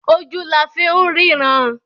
Ojú la fi ń ríran.